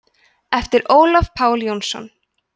eftir ólaf pál jónsson